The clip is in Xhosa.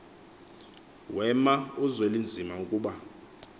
wema uzwelinzima akuba